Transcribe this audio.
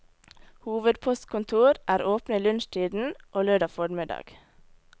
Hovedpostkontor er åpne i lunsjtiden, og lørdag formiddag.